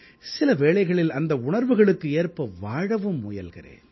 சில வேளைகளில் அந்த உணர்வுகளுக்கு ஏற்ப வாழவும் முயல்கிறேன்